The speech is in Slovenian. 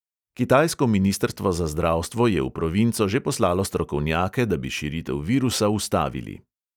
Kitajsko ministrstvo za zdravstvo je v provinco že poslalo strokovnjake, da bi širitev virusa ustavili.